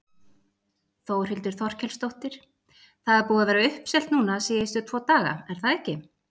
Þórhildur Þorkelsdóttir: Það er búið að vera uppselt núna síðustu tvo daga, er það ekki?